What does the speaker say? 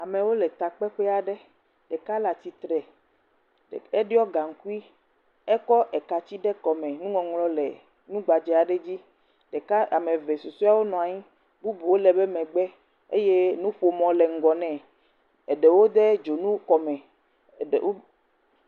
Amewo le takpeƒe aɖe. Ɖeka le atsitre, ɖe eɖɔ gaŋkui, ekɔ eka tsi de kɔme. Nuŋɔŋlɔ le nugbadze aɖe dzi. Ɖeka ame eve susɔewo nɔ anyi bubuwo le eƒe megbe eye nuƒomɔ le ŋgɔ nɛ. Eɖewo de dzonu kɔme. Wode